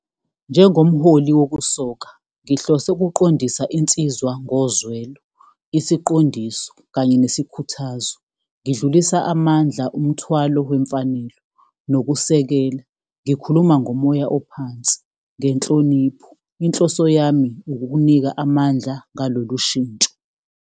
Njengomholi wokusoka, ngihlose ukuqondisa insizwa ngozwelo. Isiqondiso kanye nesikhuthazo, ngidlulisa amandla, umthwalo wemfanelo nokusekela. Ngikhuluma ngomoya ophansi, ngenhlonipho, inhloso yami ukukunika amandla ngalolu shintsho.